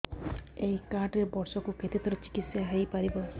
ଏଇ କାର୍ଡ ରେ ବର୍ଷକୁ କେତେ ଥର ଚିକିତ୍ସା ହେଇପାରିବ